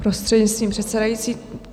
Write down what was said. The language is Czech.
Prostřednictvím předsedající.